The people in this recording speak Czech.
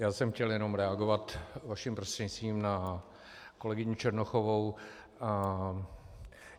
Já jsem chtěl jenom reagovat vaším prostřednictvím na kolegyni Černochovou.